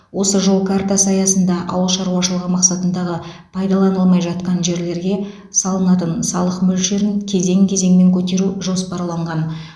осы жол картасы аясында ауыл шаруашылығы мақсатындағы пайдаланылмай жатқан жерлерге салынатын салық мөлшерін кезең кезеңмен көтеру жоспарланған